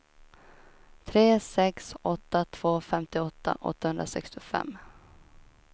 tre sex åtta två femtioåtta åttahundrasextiofem